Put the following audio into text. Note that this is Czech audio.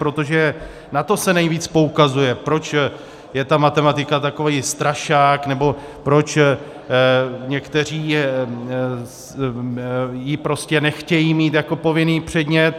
Protože na to se nejvíc poukazuje, proč je ta matematika takový strašák nebo proč někteří ji prostě nechtějí mít jako povinný předmět.